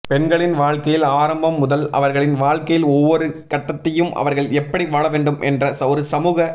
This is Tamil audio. பெண்களின் வாழ்க்கையில் ஆரம்பம் முதல் அவர்களின் வாழ்க்கையில் ஒவ்வொறு கட்டத்தையும் அவர்கள் எப்படி வாழவேண்டும் என்ற ஒரு சமூக